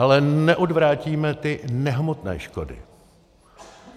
Ale neodvrátíme ty nehmotné škody.